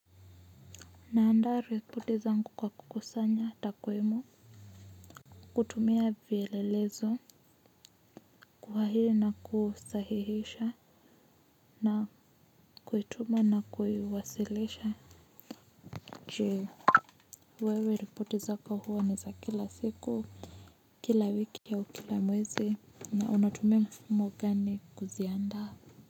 Nandaa ripoti zangu kwa kukusanya takwimu kutumia vielelezo kuwa hii na kusahihisha na kuituma na kuiwasilisha. Je wewe ripoti zako huwa ni za kila siku kila wiki au kila mwezi na unatumia mfumo gani kuziandaa.